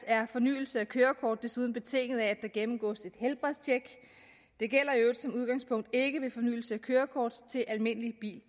er fornyelse af kørekort desuden betinget af at der gennemgås et helbredstjek det gælder i øvrigt som udgangspunkt ikke ved fornyelse af kørekort til almindelig bil